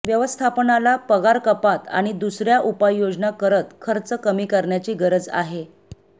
व्यवस्थापनाला पगारकपात आणि दुसर्या उपाययोजना करत खर्च कमी करण्याची गरज आहे